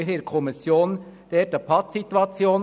In der Kommission hatten wir hier eine Pattsituation: